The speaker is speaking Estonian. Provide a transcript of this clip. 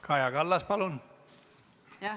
Kaja Kallas, palun!